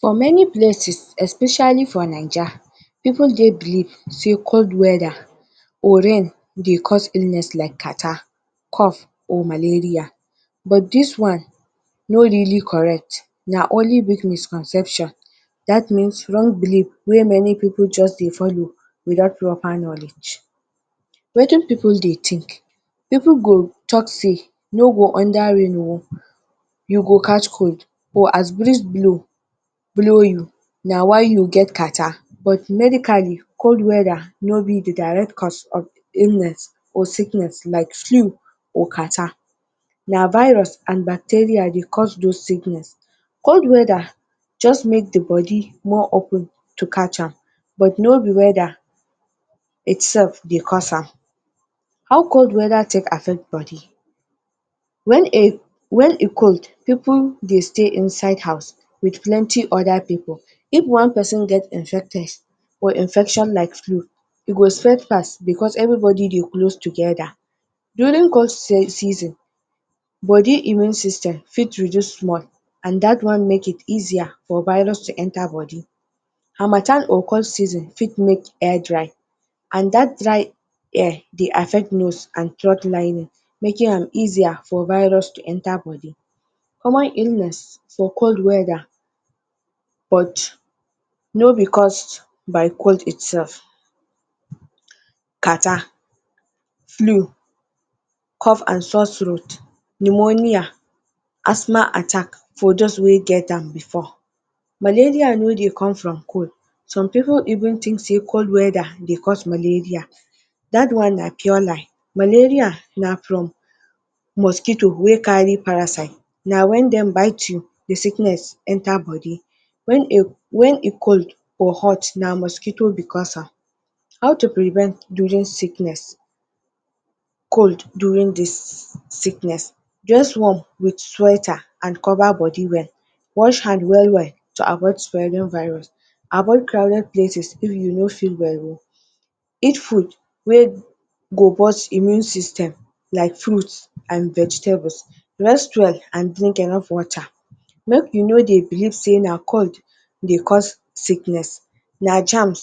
For many places for Naija pipul believe sey cold weather or rain dey cause illness like cartarh, cough or malaria but this one no correct na only bring misconception dat means wrong belief way pipul just dey follow without proper knowledge wetin pipul dey think, pipul go talk say no be under rain o you go catch cold or as breeze blow na why you get cartarh but medically cold weather no be the direct cause of illness or sickness like flew and cartarh, na virus and bacteria dey cause those sickness, cold weather dey just make the body more open to catch am but no be weather itself dey cause am, how cold weather take affect body? When e cold pipul dey stay inside house with plenty other pipul if one person get infected of infection like flew e go spread fast because everybody dey close together during cold season, body immune system fit reduce small and dat one fit make it easier for virus to enter body, harmattan or cold season fit make air dry and dat dry air dey affect nose and throat lining make am easier for virus to enter body, common cold weather but no be cost by cold itself. Cartarh, flu, cough and soar throat pneumonia asthma attack for those wey get am before. Malaria no dey come from cold, some pipul even think say cold weather dey cause malaria that one na pure lie. Malaria na from mosquito way carry parasite na when dem bite you the sickness enter body, when e cold or hot na mosquito be cause am. How to prevent cold during this sickness? Just warm with sweater and cover body well, wash hand well-well to avoid spreading virus avoid crowded places if you no feel well, eat food way go burst immune system like fruit and vegetable rest well and drink enough water make you no dey believe say na cold dey cause sickness, na germs,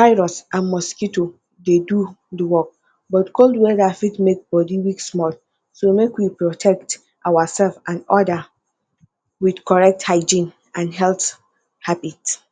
virus and mosquito dey do the work but cold weather fit make body weak small so make we protect ourselves and others with correct hygiene and health habit.